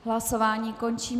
Hlasování končím.